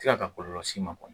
Ti kan ka kɔlɔlɔ s'i ma kɔni